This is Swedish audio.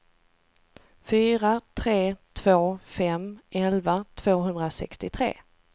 fyra tre två fem elva tvåhundrasextiotre